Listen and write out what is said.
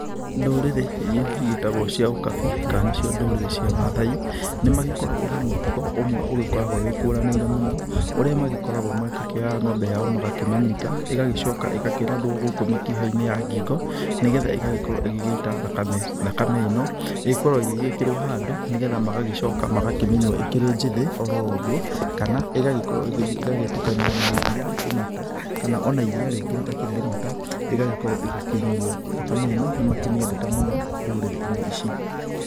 Ndũrĩrĩ irĩa igĩtagwo cia ũkabi kana nĩcio ndũrĩrĩ cia mathai nĩ magĩkoragwo na mũtugo ũmwe ũgĩkoragwo wĩkũranĩire mũno ũrĩa magĩkoragwo magĩkĩoya ngombe yao magakĩmĩnyita ĩgagĩcoka ĩgakĩrathwo gũkũ mĩkĩha-inĩ ya ngingo nĩgetha igagĩkorwo ĩgĩgĩita thakame, thakame ĩno ĩgĩgĩkoragwo ĩgĩgĩkĩrwo handũ nĩgetha magagĩcoka magakamĩnyua ĩkĩrĩ njĩthĩ oro ũgũo kana igagĩkorwo igĩgĩthiĩ igagĩtukana na iria imata kana ona iria rĩngĩ rĩtakĩrĩ imata ĩgagĩkorwo igĩkĩnyuo thakame ĩno nĩ makĩmĩendete mũno ndũrĩrĩ-inĩ ici.